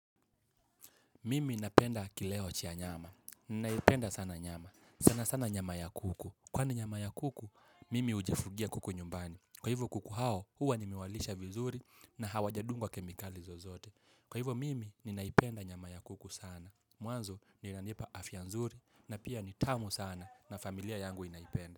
Mimi napenda kileo cha nyama. Ninaipenda sana nyama. Sana sana nyama ya kuku. Kwa ni nyama ya kuku, mimi hufugia kuku nyumbani. Kwa hivyo kuku hao, huwa ninawalisha vizuri na hawajadungwa kemikali zozote. Kwa hivyo mimi, ninaipenda nyama ya kuku sana. Mwanzo, inanipa afya nzuri na pia ni tamu sana na familia yangu inaipenda.